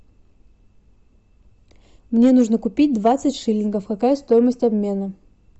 мне нужно купить двадцать шиллингов какая стоимость обмена